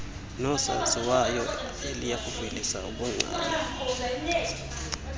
noosaziwayo eliyakuvelisa ubungcali